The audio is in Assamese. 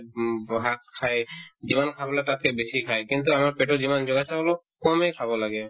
উম ব শাক খাই যিমান খাব লাগে তাতকে বেছি খাই কিন্তু আমাৰ পেটত যিমান জাগা আছে অলপ কমে খাব লাগে